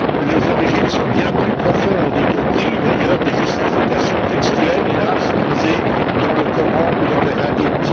Les origines sont bien plus profondes, y compris d'ailleurs des justifications textuelles hélas puisées dans le Coran ou dans les hadiths.